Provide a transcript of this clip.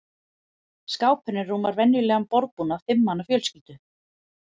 Skápurinn rúmar venjulegan borðbúnað fimm manna fjölskyldu.